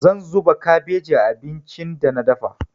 Zan zuba kabeji a abincin da na dafa.